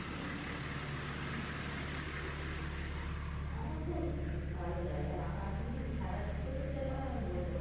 আমার তো ভালোই লাগে এখন যদি খেলার দিক থেকে বিচার করা হয় আমি বলতে পারবো